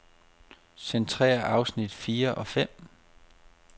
Centrér afsnit fire og fem.